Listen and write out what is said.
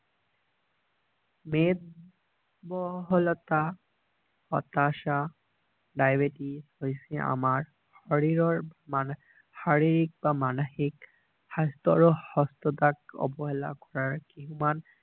মেদ বহলতা হতাশা ডাইবেটিছ হৈছে আমাৰ শৰীৰৰ শাৰীৰিক বা মানসিক স্বাস্থ্যৰ আৰু সুস্থতাক অবহেলাৰ কৰাৰ কিমান